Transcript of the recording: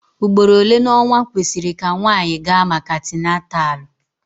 Ugboro ole n'ọnwa kwesịrị ka nwanyị gaa maka atinatalu?